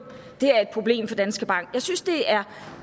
det er et problem for danske bank jeg synes det er